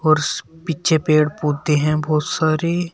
और पीछे पेड़ पौधे हैं बहुत सारे।